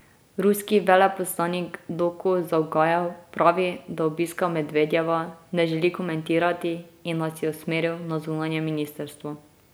Ruski veleposlanik Doku Zavgajev pravi, da obiska Medvedjeva ne želi komentirati in nas je usmeril na zunanje ministrstvo.